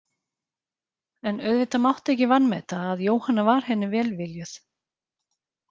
En auðvitað mátti ekki vanmeta að Jóhanna var henni velviljuð.